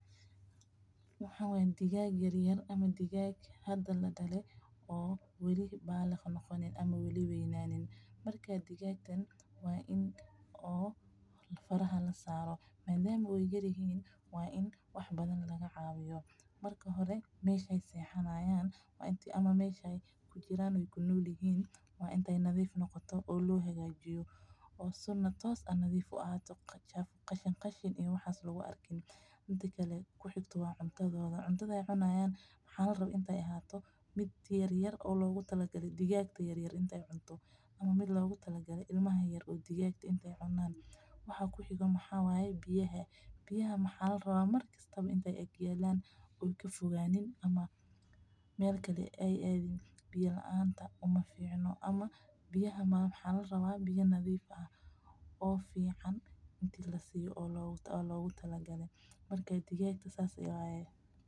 Waxaan waa digaag yaryar ama hada ladale oo weli weynanin madama aay yaryihiin waa in lacaawiyo oo meesha aay sexdaan waa in lanadiifiyo mida kale waa cuntadooda inaay noqoto mid yar mida kale waa in biya lasiiyo oo nadiif waa in biya fican oo loogu tala galay lasiiyo marka digaaga saas ayaan waye.